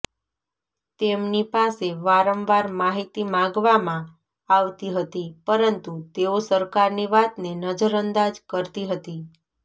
તેમનીપાસે વારંવાર માહિતી માગવામાં આવતી હતી પરંતુ તેઓ સરકારની વાતને નજર અંદાજ કરતી હતી